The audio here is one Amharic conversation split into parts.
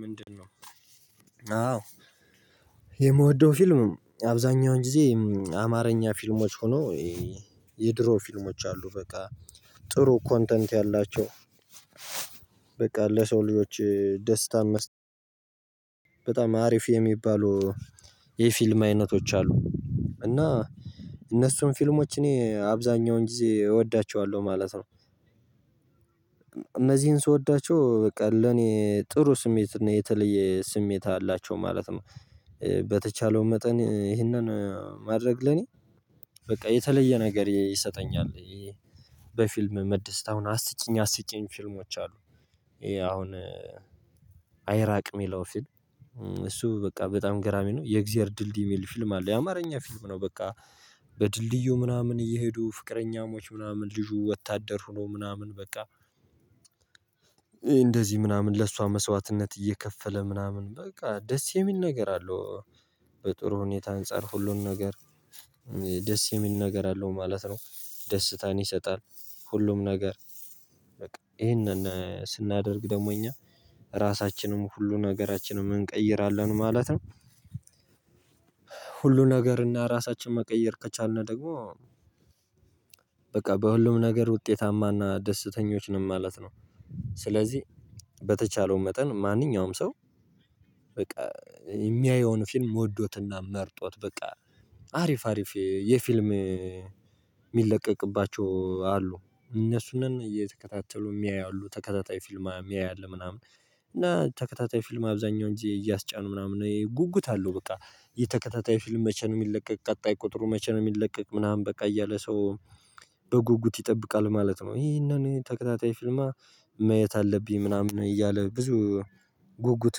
ምንድን ነው? አዎ የምወደው ፊልም አብዛኛውን ጊዜ አማርኛ ፊልሞች ሆኖ የድሮ ፊልሞች አሉ በቃ ጥሩ ኮንተንት ያላቸው በቃ ለሰው ልጆች ደስታን መስጠት በጣም አሪፍ የሚባሉ የፊልም አይነቶች አሉ። እና እነሱን ፊልሞች እኔ አብዛኛውን ጊዜ እወዳቸዋለሁ ማለት ነው። እነዚህን ስወዳቸው በቃ ለኔ ጥሩ ስሜት የተለየ ስሜት አላቸው ማለት ነው። በተቻለው መጠን ይህንን ማድረግ ለኔ በቃ የተለየ ነገር ይሰጠኛል። በፊልም መደሰት አሁን አስቂኝ አስቂኝ ፊልሞች አሉ። ይሄ አሁን አይራቅ የሚለው ፊልም። እሱ በቃ በጣም ገራሚ ነው የእግዚአብሔር ድልድይ የሚል ፊልም አለ የአማርኛ ፊልም ነው። በቃ በድልድዩ ምናምን እየሄዱ ፍቅረኛሞች ምናምን ልጁ ወታደር ሆኖ ምናምን በቃ እንደዚህ ምናምን ለእሷ መስዋዕትነት እየከፈለ ምናምን በቃ ደስ የሚል ነገር አለው። በጥሩ ሁኔታ አንፃር ሁሉን ነገር ደስ የሚል ነገር አለው ማለት ነው። ደስታን ይሰጣል ሁሉም ነገር በቃ ይሄንን ስናደርግ ደግሞ እኛ ራሳችንም ሁሉ ነገራችንም እንቀይራለን ማለት ነው። ሁሉ ነገር እና ራሳችን መቀየር ከቻልን ደግሞ በቃ በሁሉም ነገር ውጤታማና ደስተኞች ነን ማለት ነው። ስለዚህ በተቻለው መጠን ማንኛውም ሰው በቃ የሚያየውን ፊልም ወዶትና መርጦት በቃ አሪፍ አሪፍ የፊልም የሚለቀቅባቸው አሉ እነሱንን እየተከታተሉ የሚያዩ አሉ ተከታታይ ፊልም የሚያይ አለ። ምናምን እና ተከታታይ ፊልም አብዛኛውን ጊዜ እያስጫኑ ምናምን ይሄ ጉጉት አለው በቃ የተከታታይ ፊልም መቼ ነው የሚለቀቅ ቀጣይ ቁጥሩ መቼ ነው የሚለቀቅ ምናምን በቃ እያለ ሰው በጉጉት ይጠብቃል ማለት ነው። ይሄንን ተከታታይ ፊልም እማ ማየት አለብኝ ምናምን እያለ ብዙ ጉጉት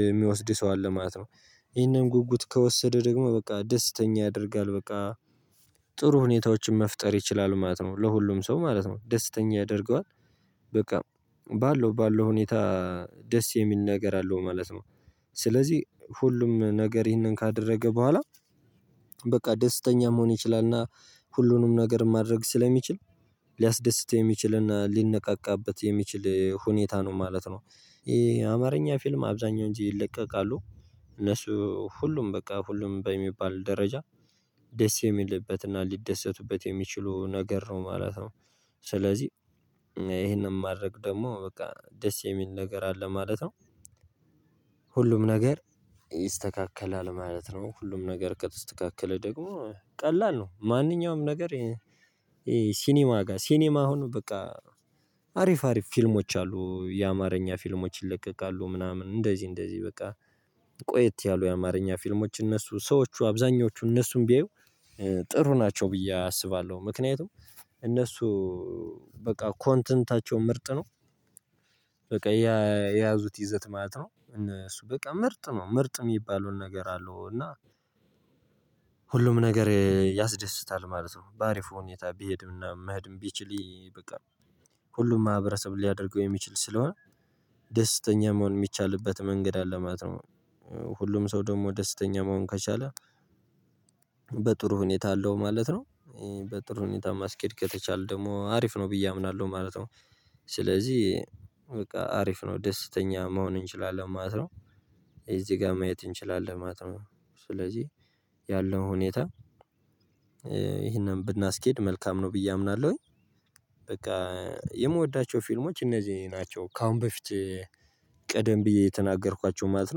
የሚወስድ ሰው አለ ማለት ነው። ይሄንን ጉጉት ከወሰደ ደግሞ በቃ ደስተኛ ያደርጋል። በቃ ጥሩ ሁኔታዎችን መፍጠር ይችላሉ ማለት ነው። ለሁሉም ሰው ማለት ነው ደስተኛ ያደርገዋል። በቃ ባለው ባለው ሁኔታ ደስ የሚል ነገር አለው ማለት ነው። ስለዚህ ሁሉም ነገር ይህንን ካደረገ በኋላ በቃ ደስተኛ መሆን ይችላል። እና ሁሉንም ነገር ማድረግ ስለሚችል ሊያስደስተው የሚችልና ሊነቃቃበት የሚችል ሁኔታ ነው ማለት ነው። ይሄ አማርኛ ፊልም አብዛኛው ጊዜ ይለቀቃሉ። እነሱ ሁሉም በቃ ሁሉም በሚባል ደረጃ ደስ የሚልበትና ሊደሰቱበት የሚችሉ ነገር ነው ማለት ነው። ስለዚህ ይሄንን ማድረግ ደግሞ በቃ ደስ የሚል ነገር አለ ማለት ነው። ሁሉም ነገር ይስተካከላል ማለት ነው። ሁሉም ነገር ከተስተካከለ ደግሞ ቀላል ነው። ማንኛውም ነገር ሲኒማ ጋር ሲኒማ አሁን በቃ አሪፍ አሪፍ ፊልሞች አሉ የአማርኛ ፊልሞች ይለቀቃሉ ምናምን እንደዚህ እንደዚህ በቃ ቆየት ያሉ የአማርኛ ፊልሞች እነሱ ሰዎቹ አብዛኞቹ እነሱን ቢያዩ ጥሩ ናቸው ብዬ አስባለሁ። ምክንያቱም እነሱ በቃ ኮንተንታቸው ምርጥ ነው። በቃ የያዙት ይዘት ማለት ነው እነሱ በቃ ምርጥ ነው ምርጥ የሚባለው ነገር አለው። እና ሁሉም ነገር ያስደስታል ማለት ነው። በአሪፉ ሁኔታ ቢሄድና መሄድም ቢችል በቃ ሁሉም ማህበረሰብ ሊያደርገው የሚችል ስለሆነ ደስተኛ መሆን የሚቻልበት መንገድ አለ ማለት ነው። ሁሉም ሰው ደግሞ ደስተኛ መሆን ከቻለ በጥሩ ሁኔታ አለው ማለት ነው። በጥሩ ሁኔታ ማስኬድ ከተቻለ ደግሞ አሪፍ ነው ብዬ አምናለሁ ማለት ነው። ስለዚህ በቃ አሪፍ ነው ደስተኛ መሆን እንችላለን ማለት ነው። እዚህ ጋር ማየት እንችላለን ማለት ነው። ስለዚህ ያለው ሁኔታ ይሄንን ብናስኬድ መልካም ነው ብዬ አምናለሁኝ። በቃ የምወዳቸው ፊልሞች እነዚህ ናቸው ከአሁን በፊት ቀደም ብዬ የተናገርኳቸው ማለት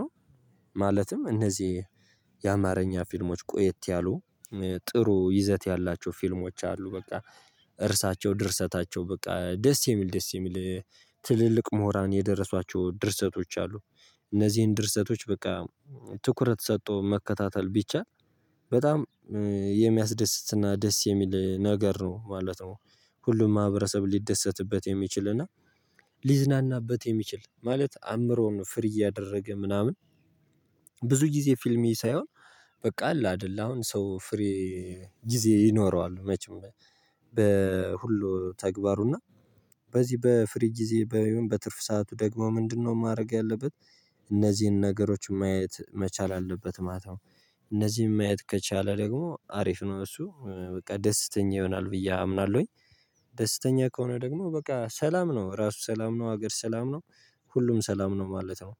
ነው። ማለትም እነዚህ የአማርኛ ፊልሞች ቆየት ያሉ ጥሩ ይዘት ያላቸው ፊልሞች አሉ። በቃ እርዕሳቸው ድርሰታቸው በቃ ደስ የሚል ደስ የሚል ትልልቅ ምሁራን የደረሷቸው ድርሰቶች አሉ። እነዚህን ድርሰቶች በቃ ትኩረት ሰጥቶ መከታተል ቢቻል በጣም የሚያስደስትና ደስ የሚል ነገር ነው ማለት ነው። ሁሉም ማህበረሰብ ሊደሰትበት የሚችል እና ሊዝናናበት የሚችል ማለት አእምሮውን ፍሪ እያደረገ ምናምን ብዙ ጊዜ ፊልም እይ ሳይሆን በቃ አለ አይደለ አሁን ሰው ፍሪ ጊዜ ይኖረዋል መቼም በሁሉ ተግባሩና በዚህ በፍሪ ጊዜ በትርፍ ሰዓቱ ደግሞ ምንድነው ማድረግ ያለበት እነዚህን ነገሮች ማየት መቻል አለበት ማለት ነው። እነዚህን ማየት ከቻለ ደግሞ አሪፍ ነው እሱ በቃ ደስተኛ ይሆናል ብዬ አምናለሁኝ። ደስተኛ ከሆነ ደግሞ በቃ ሰላም ነው ራሱ ሰላም ነው ሀገር ሰላም ነው። ሁሉም ሰላም ነው ማለት ነው።